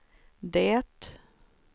det